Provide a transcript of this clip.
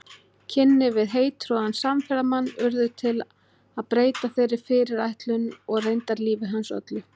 Kynni við heittrúaðan samferðamann urðu til að breyta þeirri fyrirætlun og reyndar lífi hans öllu.